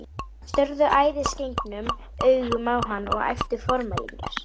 Þeir störðu æðisgengnum augum á hann og æptu formælingar.